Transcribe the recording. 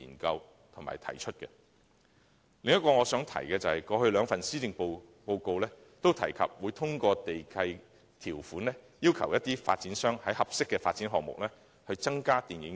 我想提出的另一點是，過去兩份施政報告均提及會通過地契條款，要求發展商在合適的發展項目內增加電影院設施。